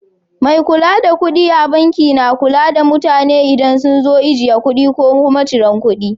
Mai kula da kuɗi a banki na kula da mutane idan sun zo ajiye kuɗi ko kuma cirar kuɗi.